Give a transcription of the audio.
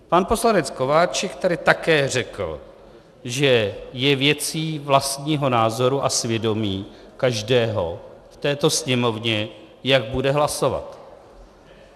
Pan poslanec Kováčik tady také řekl, že je věcí vlastního názoru a svědomí každého v této Sněmovně, jak bude hlasovat.